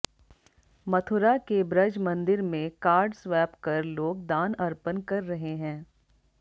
मथुरा के ब्रज मंदिर में कार्ड स्वैप कर लोग दान अर्पण कर रहे हैं